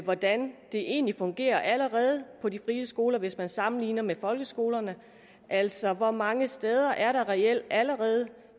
hvordan det egentlig fungerer allerede på de frie skoler hvis man sammenligner med folkeskolerne altså hvor mange steder er der reelt allerede